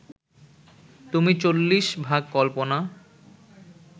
তুমি চল্লিশভাগ কল্পনা